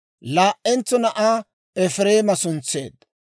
Laa"entso na'aa Efireema suntseedda.